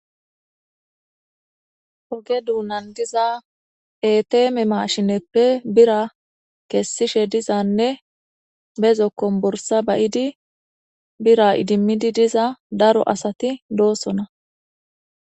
Hoge duunan diza eteme maashineppe bira kessishe dizanne bezokkon bursa bayidi bira idimmidi diza daro asati doossona.